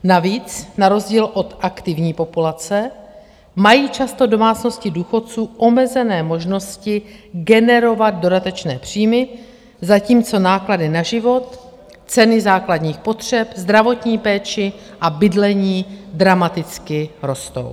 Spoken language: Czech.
Navíc na rozdíl od aktivní populace mají často domácnosti důchodců omezené možnosti generovat dodatečné příjmy, zatímco náklady na život, ceny základních potřeb, zdravotní péči a bydlení dramaticky rostou.